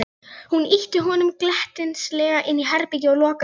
Hún ýtti honum glettnislega inn í herbergið og lokaði hurðinni.